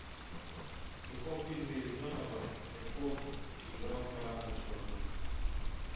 в каком фильме рязанова мягков играл карандышева